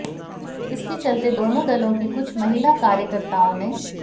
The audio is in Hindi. इसके चलते दोनों दलों की कुछ महिला कार्यकर्ताओं ने